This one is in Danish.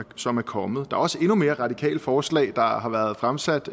som er kommet der er også endnu mere radikale forslag der har har været fremsat